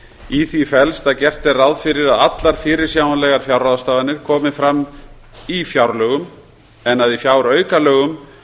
í því felst að gert er ráð fyrir að allar fyrirsjáanlegar fjárráðstafanir komi fram í fjárlögum en að í fjáraukalögum